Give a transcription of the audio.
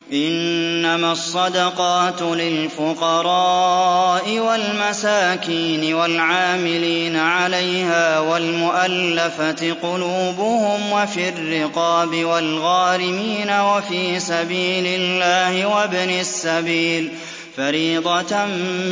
۞ إِنَّمَا الصَّدَقَاتُ لِلْفُقَرَاءِ وَالْمَسَاكِينِ وَالْعَامِلِينَ عَلَيْهَا وَالْمُؤَلَّفَةِ قُلُوبُهُمْ وَفِي الرِّقَابِ وَالْغَارِمِينَ وَفِي سَبِيلِ اللَّهِ وَابْنِ السَّبِيلِ ۖ فَرِيضَةً